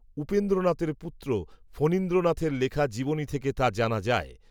উপেন্দ্রনাথের পুত্র ফণীন্দ্রনাথের লেখা জীবনী থেকে তা জানা যায়